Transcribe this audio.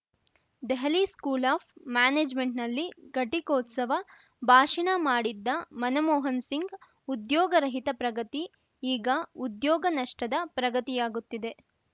Delhi school of ಮ್ಯಾನೇಜ್‌ಮೆಂಟ್‌ನಲ್ಲಿ ಘಟಿಕೋತ್ಸವ ಭಾಷಣ ಮಾಡಿದ್ದ ಮನಮೋಹನ್ ಸಿಂಗ್‌ ಉದ್ಯೋಗರಹಿತ ಪ್ರಗತಿ ಈಗ ಉದ್ಯೋಗ ನಷ್ಟದ ಪ್ರಗತಿಯಾಗುತ್ತಿದೆ